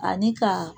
Ani ka